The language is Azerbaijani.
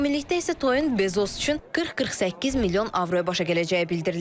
Ümumilikdə isə toyun Bezos üçün 40-48 milyon avroya başa gələcəyi bildirilir.